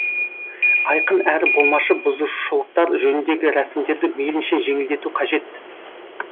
айқын әрі болмашы бұзушылықтар жөніндегі рәсімдерді мейлінше жеңілдету қажет